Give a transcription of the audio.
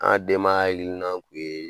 An denmaya hakilina kun ye